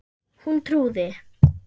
Hún trúði